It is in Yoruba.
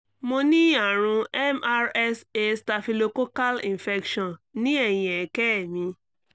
mo ní àrùn mrsa staphylococcal infection ní ẹ̀yìn ẹ̀kẹ́ mi